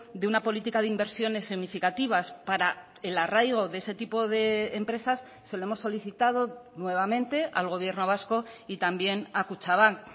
de una política de inversiones significativas para el arraigo de ese tipo de empresas se lo hemos solicitado nuevamente al gobierno vasco y también a kutxabank